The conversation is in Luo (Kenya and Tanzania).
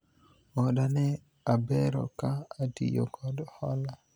oda ne abero ka atiyo kod hola